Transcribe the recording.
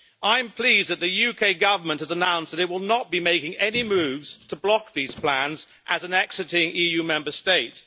I am pleased that the UK Government has announced it will not be making any moves to block these plans as an exciting EU Member State.